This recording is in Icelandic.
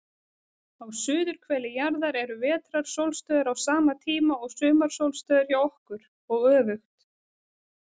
Á suðurhveli jarðar eru vetrarsólstöður á sama tíma og sumarsólstöður hjá okkur, og öfugt.